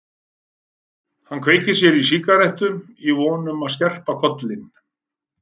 Hann kveikti sér í sígarettu í von um að skerpa kollinn.